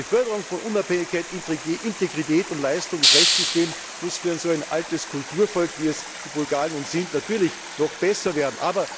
Die Förderung von Unabhängigkeit, Integrität und Leistung des Rechtssystems muss für so ein altes Kulturvolk, wie es die Bulgaren sind, natürlich noch besser werden.